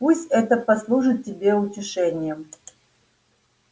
пусть это послужит тебе утешением